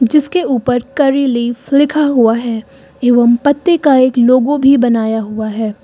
जिसके ऊपर curry leaf लिखा हुआ है एवं पत्ते का एक लोगों भी बनाया हुआ है।